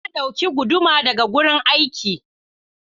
Na dauki guduma daga gurin aiki.